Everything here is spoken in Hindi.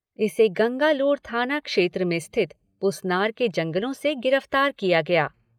इसे गंगालूर थाना क्षेत्र में स्थित पुसनार के जंगलों से गिरफ्तार किया गया।